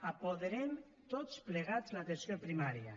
apoderem tots plegats l’atenció primària